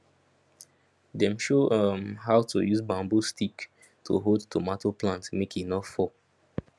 dem show um how to use bamboo stick to hold tomato plantmake he no fall